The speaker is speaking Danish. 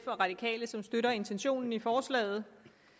og radikale som støtter intentionen i forslaget